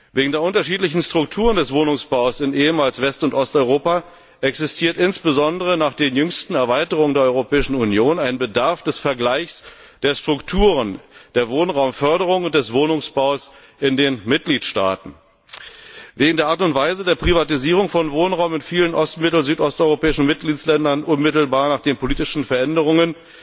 Wegen der unterschiedlichen Strukturen des Wohnungsbaus im ehemaligen West und Osteuropa besteht insbesondere nach den jüngsten Erweiterungen der Europäischen Union der Bedarf, die Strukturen der Wohnraumförderung und des Wohnungsbaus in den Mitgliedstaaten zu vergleichen. Wegen der Art und Weise der Privatisierung von Wohnraum in vielen ost mittel und südosteuropäischen Mitgliedstaaten unmittelbar nach den politischen Veränderungen